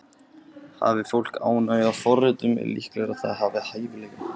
Hafi fólk ánægju af forritun er líklegra að það hafi hæfileika.